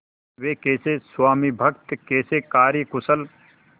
वे कैसे स्वामिभक्त कैसे कार्यकुशल